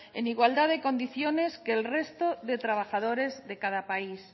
en igualdad de condiciones que el resto de trabajadores de cada país